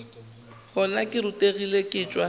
gona ke rutegile ke tšwa